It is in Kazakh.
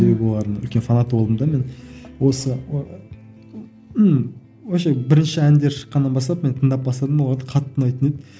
себебі мен олардың үлкен фанаты болдым да мен осы ыыы вообще бірінші әндері шыққаннан бастап мен тыңдап бастадым оларды қатты ұнайтын еді